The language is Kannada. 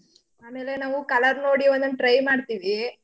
ಆಮೇಲೆ ನಾವು colour ನೋಡಿ ಒಂದೊಂದ್ try ಮಾಡ್ತಿವೀ.